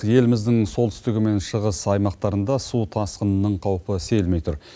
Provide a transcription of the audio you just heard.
еліміздің солтүстігі мен шығыс аймақтарында су тасқынының қаупі сейілмей тұр